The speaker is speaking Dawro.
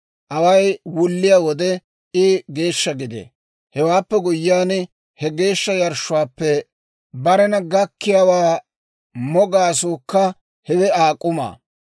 Away wulliyaa wode I geeshsha gidee; Hewaappe guyyiyaan, he geeshsha yarshshuwaappe barena gakkiyaawaa mo gaasuukka hewe Aa k'umaa.